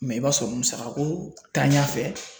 i b'a sɔrɔ musakako tanɲa fɛ